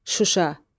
Şuşa,